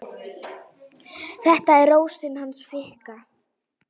Þetta er Rósin hans Fikka.